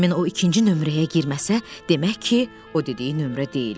Həmin o ikinci nömrəyə girməsə, demək ki, o dediyi nömrə deyil.